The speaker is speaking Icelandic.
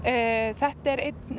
þetta er einn